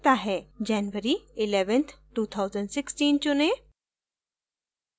january 11th 2016 चुनें